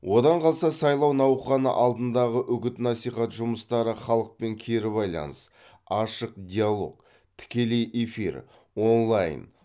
одан қалса сайлау науқаны алдындағы үгіт насихат жұмыстары халықпен кері байланыс ашық диалог тікелей эфир онлайн